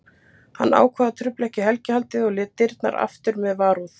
Hann ákvað að trufla ekki helgihaldið og lét dyrnar aftur með varúð.